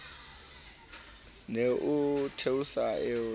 ne o theosa eo ya